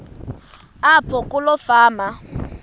apho kuloo fama